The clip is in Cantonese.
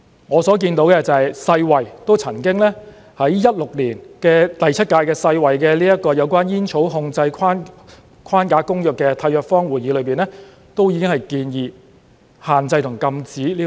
我所看到的是，世界衞生組織曾在2016年第七屆有關《煙草控制框架公約》的締約方會議上已經建議限制和禁止電子煙。